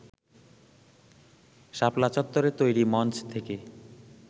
শাপলা চত্বরে তৈরি মঞ্চ থেকে